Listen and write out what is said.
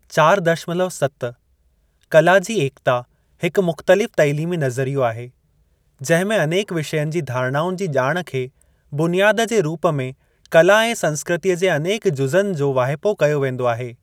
चार दशमलव सत कला जी एकता हिकु मुख़्तलिफ़ तइलीमी नज़रियो आहे, जंहिं में अनेक विषयनि जी धारणाउनि जी ॼाण खे बुनियादु जे रूप में कला ऐं संस्कृतीअ जे अनेक जुज़नि जो वाहिपो कयो वेंदो आहे।